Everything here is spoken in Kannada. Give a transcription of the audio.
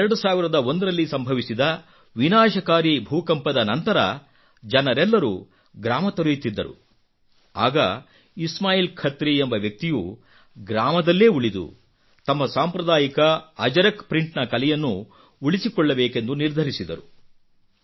2001 ರಲ್ಲಿ ಸಂಭವಿಸಿದ ವಿನಾಶಕಾರಿ ಭೂಕಂಪದ ನಂತರಜನರೆಲ್ಲರೂ ಗ್ರಾಮ ತೊರೆಯುತ್ತಿದ್ದರು ಆಗ ಇಸ್ಮಾಯಿಲ್ ಖತ್ರಿ ಎಂಬ ವ್ಯಕ್ತಿಯು ಗ್ರಾಮದಲ್ಲೇ ಉಳಿದು ತಮ್ಮ ಸಾಂಪ್ರದಾಯಿಕ ಅಜರಕ್ ಪ್ರಿಂಟ್ ನ ಕಲೆಯನ್ನು ಉಳಿಸಿಕೊಳ್ಳಬೇಕೆಂದು ನಿರ್ಧರಿಸಿದರು